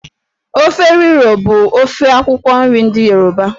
Efo riro bụ ofe akwụkwọ nri ndị Yoruba.